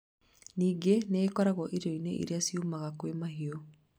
Ningĩ nĩ ĩkoragwo irio-inĩ iria ciumaga kwĩ mahiũ